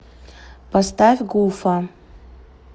поставь гуфа